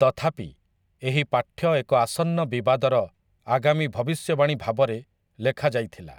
ତଥାପି, ଏହି ପାଠ୍ୟ ଏକ ଆସନ୍ନ ବିବାଦର ଆଗାମୀ ଭବିଷ୍ୟବାଣୀ ଭାବରେ ଲେଖାଯାଇଥିଲା ।